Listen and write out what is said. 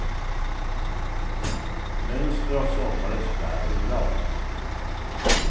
Mönster av sommarens bär och blad.